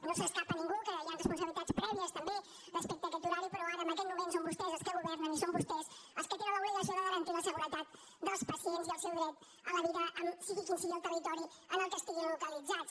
no se li escapa a ningú que hi han responsabilitats prè·vies també respecte a aquest horari però ara en aquest moment són vostès els que governen i són vostès els que tenen l’obligació de garantir la seguretat dels pa·cients i el seu dret a la vida sigui quin sigui el territori en què estiguin localitzats